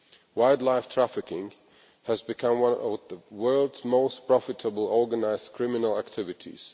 Wildlife trafficking has become one of the world's most profitable organised criminal activities.